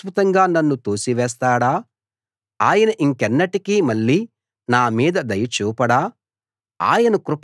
ప్రభువు శాశ్వతంగా నన్ను తోసివేస్తాడా ఆయన ఇంకెన్నటికీ మళ్ళీ నా మీద దయ చూపడా